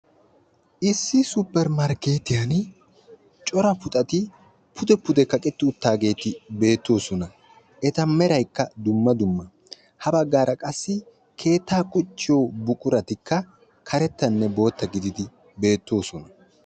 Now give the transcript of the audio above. Issi supermarkketiyaan cora puxati pude pude kaqetti uttaageeti beettoosona. Eta meraykka dumma dumma, ha baggara qassi keetta qucciyo buquratikka karettanne bootta gididi beettoosona.